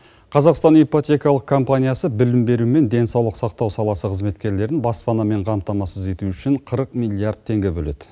қазақстан ипотекалық компаниясы білім беру мен денсаулық сақтау саласы қызметкерлерін баспанамен қамтамасыз ету үшін қырық миллиард теңге бөледі